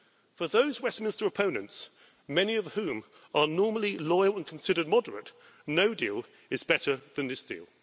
For those Westminster opponents, many of whom are normally loyal and considered moderate, no deal is better than this deal.